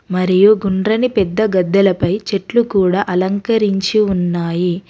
మరియు గుండ్రని పెద్ద గద్దలపై చెట్లు కూడా అలంకరించి ఉన్నాయి.